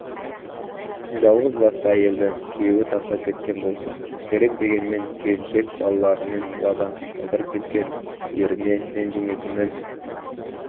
жалғыз басты әйелді күйеуі тастап кеткен болса керек дегенмен келіншек балаларымен далада қалдырып кеткен еріне ренжімейтінін